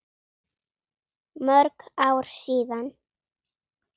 Mörg ár síðan.